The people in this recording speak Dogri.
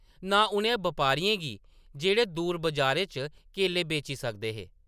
नां उ’नें बपारियें गी जेह्‌‌ड़े दूर बाजारें च केले बेची सकदे हे ।